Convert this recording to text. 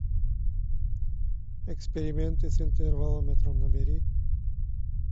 эксперименты с интервалометром набери